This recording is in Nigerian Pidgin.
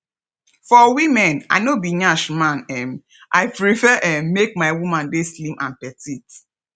for women i no be nyash man um i prefer um make my woman dey slim and petite